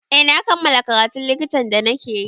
Eh na kammala karatun likitan da na ke yi